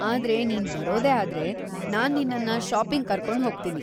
ಆದ್ರೆ ನೀನು ಬರೋದೇ ಆದ್ರೆ, ನಾನ್ ನಿನ್ನನ್ನ ಷಾಪಿಂಗ್‌ ಕರ್ಕೊಂಡ್ಹೋಗ್ತೀನಿ.